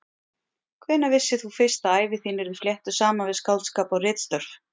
Hvenær vissir þú fyrst að ævi þín yrði fléttuð saman við skáldskap og ritstörf?